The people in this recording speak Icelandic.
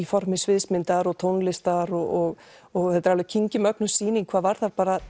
formi sviðsmyndar og tónlistar og og þetta er alveg sýning hvað varðar bara